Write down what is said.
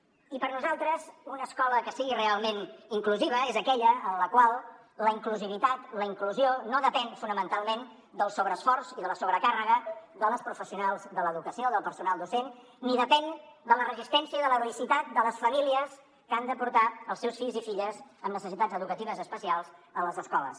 i per nosaltres una escola que sigui realment inclusiva és aquella en la qual la inclusivitat la inclusió no depèn fonamentalment del sobreesforç i de la sobrecàrrega de les professionals de l’educació del personal docent ni depèn de la resistència i de l’heroïcitat de les famílies que han de portar els seus fills i filles amb necessitats educatives especials a les escoles